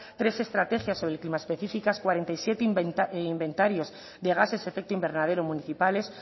tres estrategias cuarenta y siete inventarios de gases efecto invernadero municipales